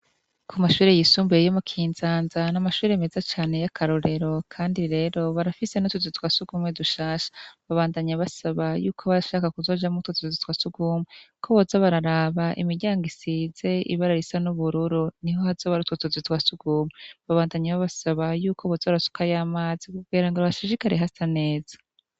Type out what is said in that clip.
Ku mashure y'isumbuye yo mu Kinzanza n'amashure meza cane y'akarorero kandi rero barafise nu tuzi twa sugumwe dushasha babandanye basaba y'uko barashaka kuzoja mo twotuzi twa sugumwe koboza bararaba imiryango isize ibara risa n'ubururu niho hazo hari utwo tuzu twasugumwe babandanye bo basaba y'ukobozo barasuka y'amazi bubwera ngo hashijikare hasaneza.